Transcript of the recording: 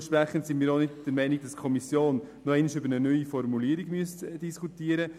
Dementsprechend müsste unseres Erachtens die Kommission nicht noch einmal über eine neue Formulierung diskutieren.